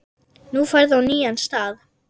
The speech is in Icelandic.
Nú ferðu á nýjan stað.